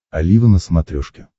олива на смотрешке